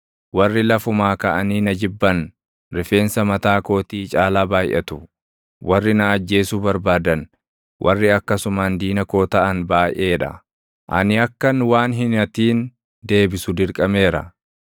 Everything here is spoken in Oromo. Warri lafumaa kaʼanii na jibban rifeensa mataa kootii caalaa baayʼatu; warri na ajjeesuu barbaadan, warri akkasumaan diina koo taʼan baayʼee dha. Ani akkan waan hin hatin deebisu dirqameera.